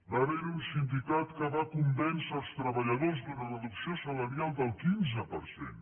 va haver hi un sindicat que va convèncer els treballadors d’una reducció salarial del quinze per cent